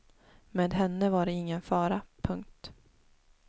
Med henne var det ingen fara. punkt